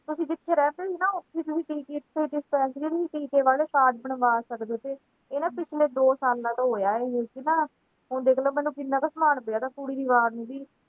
ਅਸੀਂ ਜਿੱਥੇ ਰਹਿੰਦੇ ਸੀ ਨਾ ਡਿਪੈਂਸਰੀਆਂ ਤੇ ਵਾਲੇ card ਬਣਵਾ ਸਕਦੇ ਥੇ ਇਹ ਨਾ ਪਿਛਲੇ ਦੋ ਸਾਲਾਂ ਤੋਂ ਹੋਇਆ ਇਥੇ ਇਹ ਹੁਣ ਦੇਖਲੋ ਮੈਨੂੰ ਕਿੰਨਾ ਕੁ